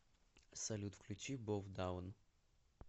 салют включи бов даун